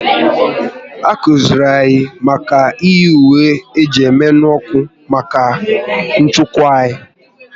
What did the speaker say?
A kụziri anyị na ọ dị mkpa iyi ùwé eji emenu ọkụ maka nchekwa anyị